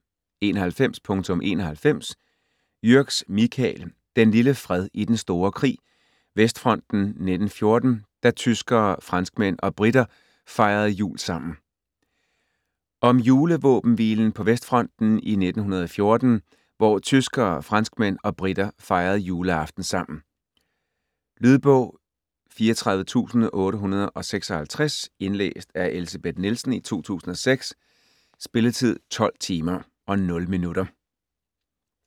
91.91 Jürgs, Michael: Den lille fred i den store krig: Vestfronten 1914 - da tyskere, franskmænd og briter fejrede jul sammen Om julevåbenhvilen på Vestfronten i 1914 hvor tyskere, franskmænd og briter fejrede juleaften sammen. Lydbog 34856 Indlæst af Elsebeth Nielsen, 2006 Spilletid: 12 timer, 0 minutter.